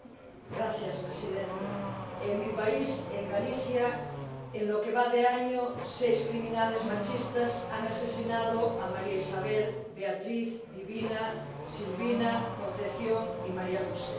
Señora Presidenta, en mi país, en Galicia, en lo que va de año, seis criminales machistas han asesinado a María Isabel, Beatriz, Divina, Silvina, Concepción y María José.